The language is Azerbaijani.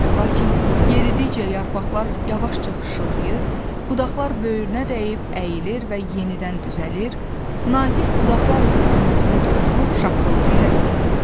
Lakin yeridikcə yarpaqlar yavaşca xışılayır, budaqlar böyrünə dəyib əyilir və yenidən düzəlir, nazik budaqlar isə sinəsinə toxunub şaqqıltı ilə sınırdı.